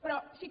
però sí que